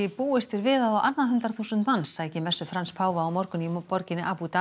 búist er við að á annað hundrað þúsund manns sæki messu Frans páfa á morgun í borginni Abu